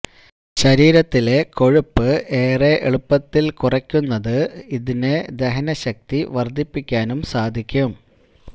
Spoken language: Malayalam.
ശരീരത്തിലെ കൊഴുപ്പ് ഏറെ എളുപ്പത്തില് കുറയ്ക്കുന്നത് ഇതിന് ദഹന ശക്തി വര്ദ്ധിപ്പിയ്ക്കാനും സാധിയ്ക്കും